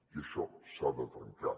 i això s’ha de trencar